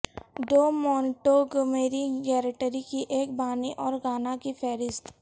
do Montgomery گیریٹری کی ایک بانی اور گانا کی فہرست